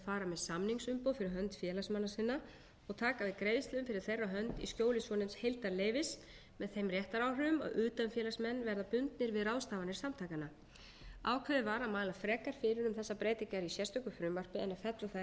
samningsumboð fyrir hönd félagsmanna sinna og taka við greiðslum fyrir þeirra hönd í skjóli svonefnds heildarleyfis með þeim réttaráhrifum að utanfélagsmenn verða bundnir við ráðstafanir samtakanna ákveðið var að mæla frekar fyrir um þessar breytingar í sérstöku frumvarpi en að fella þær inn